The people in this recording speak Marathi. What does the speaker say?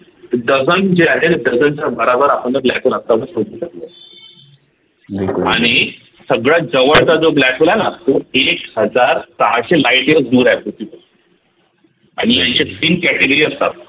dozen जे आहे dozen च्या बराबर आपण black hole शोधू शकलोय आणि सगळ्यात जवळचा जो black hole आहे न एक हजार सहाशे lightyear दूर आहे पृथ्वीपासून आणि यांच्यात तीन category असतात